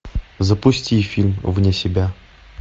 запусти фильм вне себя